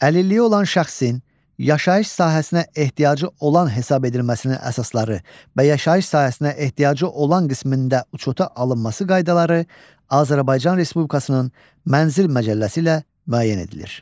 Əlilliyi olan şəxsin yaşayış sahəsinə ehtiyacı olan hesab edilməsinin əsasları və yaşayış sahəsinə ehtiyacı olan qismində uçota alınması qaydaları Azərbaycan Respublikasının mənzil məcəlləsi ilə müəyyən edilir.